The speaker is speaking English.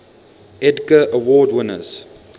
edgar award winners